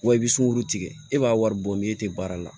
Wa i bɛ sunkurutigɛ e b'a wari bɔ ni e tɛ baara la